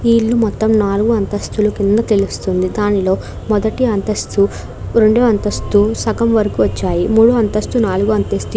ఈ ఇల్లు మొత్తము నాలుగు అంతస్తుల కింద తెలుస్తుంది దానిలో మొదటి అంతస్తు రెండవ అంతస్తు సగం వరకు వచ్చాయి మండవ అంతస్తు నాలగవ అంతస్తు --